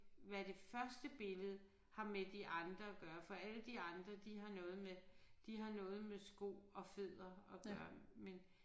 Hvad det første billede har med de andre at gøre for alle de andre de har noget med de har noget med sko og fødder at gøre men